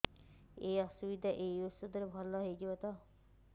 ଏଇ ଅସୁବିଧା ଏଇ ଔଷଧ ରେ ଭଲ ହେଇଯିବ ତ